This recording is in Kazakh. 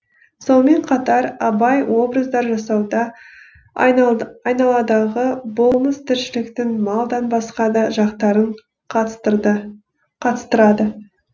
сонымен қатар абай образдар жасауда айналадағы болмыс тіршіліктің малдан басқа да жақтарын қатыстырды қатыстырады